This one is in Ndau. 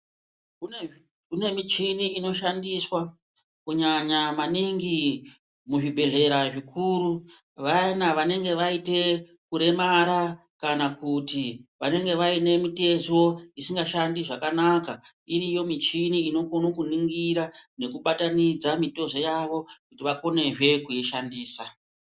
Kune michini inoshandiswa kunyanya maningi muzvibhedhlera zvikuru, vayana vanenge vaite kuremara kana kuti vanenge vaine mitezo isingashandi zvakanaka, iriyo michini inokone kuningira nekubatanidze mitezo yavo kuti vakonezve kuishandisa.